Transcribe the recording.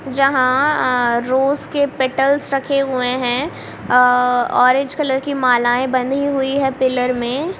जहां अह रोज के पेटल्स रखे हुए हैं अह ऑरेंज कलर की मालाएं बनी हुई हैं पिलर में।